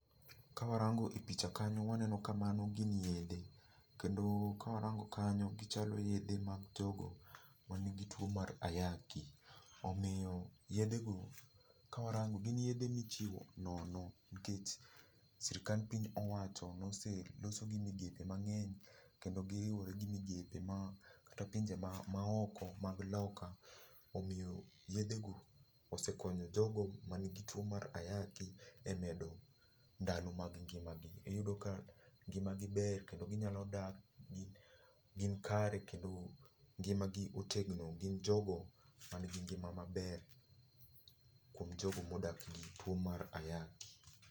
Ka warango e picha kanyo waneno ka mano gin yedhe. Kendo ka warango kanyo gichalo yedhe mag jogo ma nigi tuo mar ayaki. Omiyo yedhe go ka warango gin yedhe michiwo nono nikech sirkand piny owacho nose loso gi migepe mang'eny kendo giriwore gi migepe ma, kata pinje ma oko mag loka. Omiyo yedhe go osekonyo jogo ma nigi tuo mar ayaki e medo ndalo mag ngima gi. Iyudo ka ngima gi ber kendo ginyalo dak gi gin kare kendo ngima gi otegno. Gin jogo ma nigi ngima maber kuom jogo modak gi tuo mar ayaki.